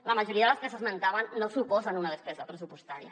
la majoria de les que s’esmentaven no suposen una despesa pressupostària